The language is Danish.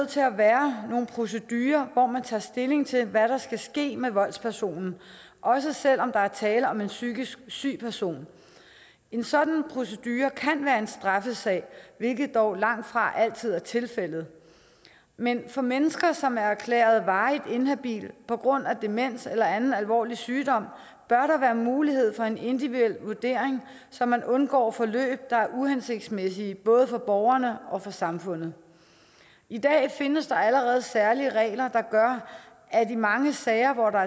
til at være nogle procedurer hvor man tager stilling til hvad der skal ske med voldspersonen også selv om der er tale om en psykisk syg person en sådan procedure kan være en straffesag hvilket dog langtfra altid er tilfældet men for mennesker som er erklæret varigt inhabile på grund af demens eller anden alvorlig sygdom bør der være mulighed for en individuel vurdering så man undgår forløb der er uhensigtsmæssige både for borgerne og for samfundet i dag findes der allerede særlige regler der gør at i mange sager hvor der